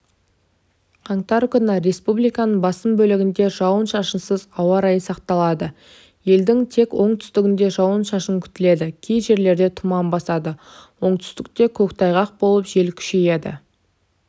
қаңтар күні республиканың басым бөлігінде жауын-шашынсыз ауа райы сақталады елдің текоңтүстігінде жауын-шашын күтіледі кей жерлерді тұман басады оңтүстікте көктайғақ болып желкүшейеді